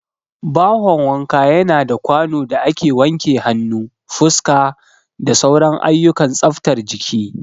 Bahon wanka yana da kwano da ake wanke hannu, fuska, da sauran ayyukan tsaftar jiki.